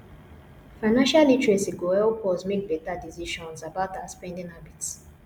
financial literacy go help us make beta decisions about our spending habit